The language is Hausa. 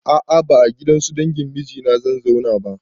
A a ba a gidansu dangin mijina zan zauna ba.